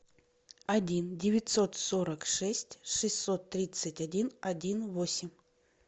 один девятьсот сорок шесть шестьсот тридцать один один восемь